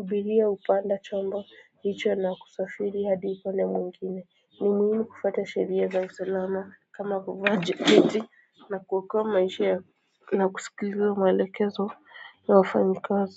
abiria hupanda chombo hicho na kusafiri hadi upande mwngine ni muhimu kufuata sheria za usalama kama kuvaa jaketi na kuokoa maisha na kusikiliza maelekezo ya wafanyikazi.